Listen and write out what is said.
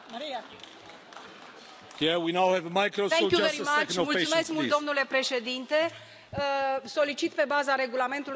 Domnule președinte, solicit, pe baza Regulamentului, întoarcerea raportului la Comisie, pentru începerea negocierii interinstituționale.